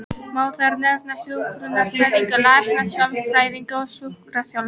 Má þar nefna hjúkrunarfræðinga, lækna, sálfræðinga og sjúkraþjálfara.